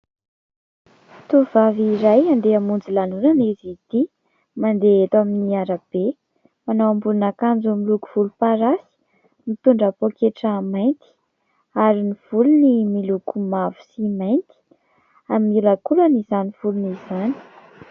Tovovavy iray handeha hamonjy lanonana izy ity, mandeha eto amin'ny arabe. Manao ambonin'akanjo miloko volomparasy, mitondra pôketra mainty ary ny volony miloko mavo sy mainty ary miolankolana izany volony zany.